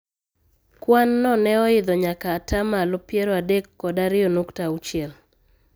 Kwan no ne oidho nyaka ataa malo piero adek kod ariyo nukta auchiel.